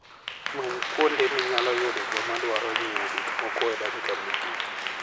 Many kuonde minyalo yude joma dwaro nyiewo gik moko e dakika mogik.